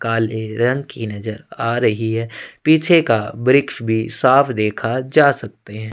काले रंग की नज़र आ रही है पीछे का वृक्ष भी साफ देखा जा सकते हैं।